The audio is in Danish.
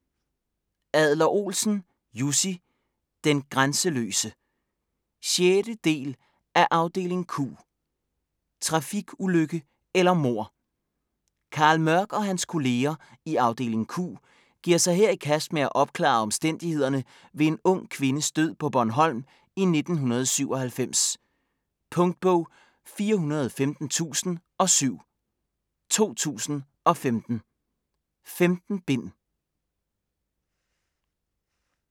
Adler-Olsen, Jussi: Den grænseløse 6. del af Afdeling Q. Trafikulykke eller mord? Carl Mørch og hans kolleger i Afdeling Q giver sig her i kast med at opklare omstændighederne ved en ung kvindes død på Bornholm i 1997. Punktbog 415007 2015. 15 bind.